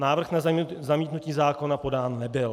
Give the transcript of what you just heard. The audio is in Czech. Návrh na zamítnutí zákona podán nebyl.